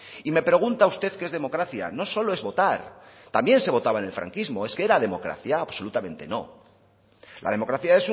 y me pregunta usted qué es democracia no solo es votar también se votaba en el franquismo eso era democracia absolutamente no la democracia